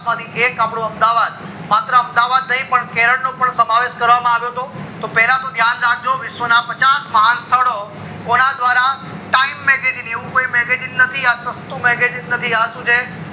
માંથી એક અપ્ડું અમદાવાદ માત્ર અમદાવાદ ની પણ કેરલ નો પણ શમાવેશ કરવામાં આવ્યો હતો પેલા તો ધ્યાન રાખજો વિશ ના પચાસ સ્થળો કોના દ્વારા time magazine એવું કોઈ magazine નથી સસ્તું magazine નથી આ શું છે